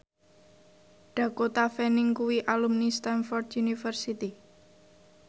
Dakota Fanning kuwi alumni Stamford University